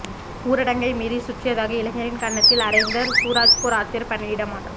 ஊரடங்கை மீறி சுற்றியதாக இளைஞரின் கன்னத்தில் அறைந்த சூரஜ்பூர் ஆட்சியர் பணியிட மாற்றம்